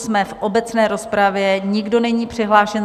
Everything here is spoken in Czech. Jsme v obecné rozpravě, nikdo není přihlášen.